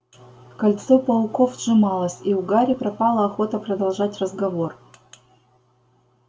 кольцо пауков сжималось и у гарри пропала охота продолжать разговор